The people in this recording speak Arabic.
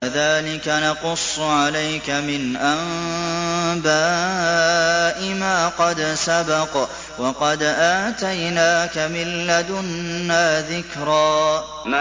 كَذَٰلِكَ نَقُصُّ عَلَيْكَ مِنْ أَنبَاءِ مَا قَدْ سَبَقَ ۚ وَقَدْ آتَيْنَاكَ مِن لَّدُنَّا ذِكْرًا